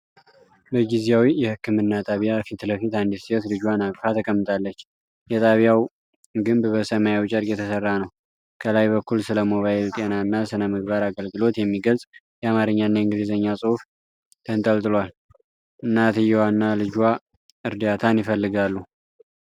በጊዜያዊ የህክምና ጣቢያ ፊት ለፊት አንዲት ሴት ልጇን አቅፋ ተቀምጣለች። የጣቢያው ግንብ በሰማያዊ ጨርቅ የተሠራ ነው። ከላይ በኩል ስለ ሞባይል ጤናና ሥነ-ምግብ አገልግሎት የሚገልጽ የአማርኛና የእንግሊዝኛ ጽሑፍ ተንጠልጥሏል። እናትየዋና ልጇ እርዳታን ይፈልጋሉ።